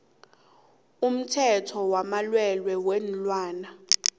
umthetho wamalwelwe weenlwana